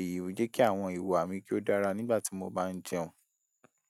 Èyí ò jẹ́ kí àwọn ìwà mi kí ó dára nígbà tí mo bá ń jẹun.